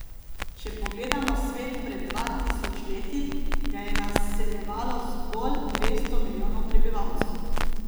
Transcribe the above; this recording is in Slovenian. Če pogledamo svet pred dva tisoč leti, ga je naseljevalo zgolj dvesto milijonov prebivalcev.